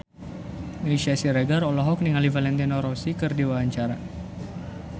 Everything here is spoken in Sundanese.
Meisya Siregar olohok ningali Valentino Rossi keur diwawancara